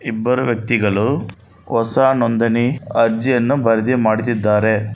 ಇಬ್ಬರು ವ್ಯಕ್ತಿಗಳು ಹೊಸ ನೊಂದಣಿ ಅರ್ಜಿಯನ್ನು ಬರ್ಧಿಮಾಡ್ತಿದಾರೆ.